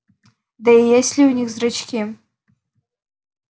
да и есть ли у них зрачки